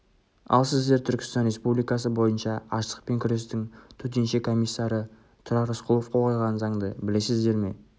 ал сіздер түркістан республикасы бойынша аштықпен күрестің төтенше комиссары тұрар рысқұлов қол қойған заңды білесіздер ме